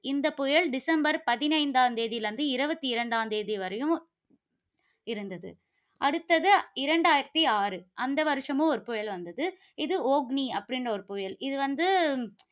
இந்தப் புயல் டிசம்பர் பதினைந்தாம் தேதியிலிருந்து, இருபத்தி இரண்டாம் தேதி வரையும் இருந்தது. அடுத்தது, இரண்டாயிரத்து ஆறு. அந்த வருஷமும் ஒரு புயல் வந்தது. இது ஓக்னி அப்படின்னு ஒரு புயல். இது வந்து